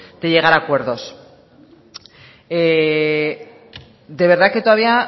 de llegar a acuerdos de verdad que todavía